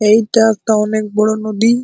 এইটা একটা অনেক বড় নদী।